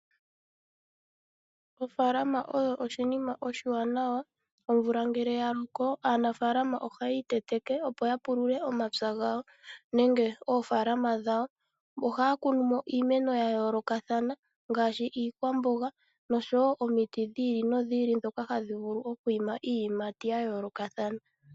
Ofaalama oyo oshinima oshiwanawa. Omvula ngele ya loko aanafaalama oha yiiteteke, opo ya pulule omapya gawo nenge oofaalama dhawo. Ohaya kunumo iimeno ya yoolokathana ngaashi iikwamboga, nosho woo omiti dhiili nodhiili ndhoka hadhi vulu oku ima iiyimati ya yoolokathana.